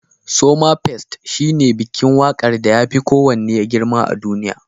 Somafest shine bikin waƙar da yafi kowanne girma a duniya.